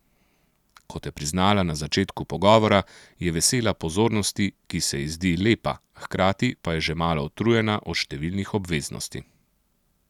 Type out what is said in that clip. Kot je priznala na začetku pogovora, je vesela pozornosti, ki se ji zdi lepa, hkrati pa je že malo utrujena od številnih obveznosti.